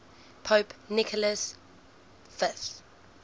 pope nicholas v